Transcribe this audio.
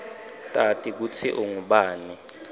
tati kutsi ungubani